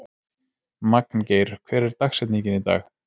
Magngeir, hver er dagsetningin í dag?